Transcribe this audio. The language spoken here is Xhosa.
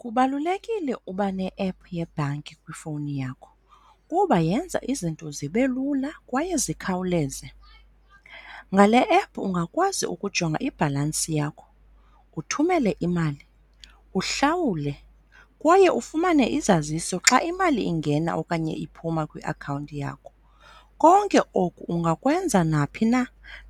Kubalulekile uba ne-app yebhanka kwifowuni yakho kuba yenza izinto zibe lula kwaye zikhawuleze. Ngale-app ungakwazi ukujonga ibhalansi yakho, uthumele imali, uhlawule kwaye ufumane izaziso xa imali ingena okanye iphuma kwiakhawunti yakho. Konke oku ungakwenza naphi na